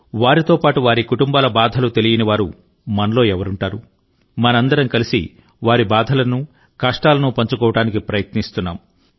వారితో పాటు వారి కుటుంబాల బాధలు తెలియనివారు మనలో ఎవరుంటారు మనందరం కలిసి వారి బాధలను కష్టాలను పంచుకోవడానికి ప్రయత్నిస్తున్నాము